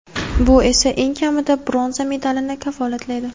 Bu esa eng kamida bronza medalni kafolatlaydi.